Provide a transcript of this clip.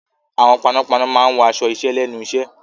Àwọn panápaná máa wọ aṣọ iṣẹ́ lẹ́nu iṣẹ́.